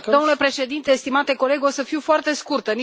Domnule președinte, stimate coleg, o să fiu foarte scurtă.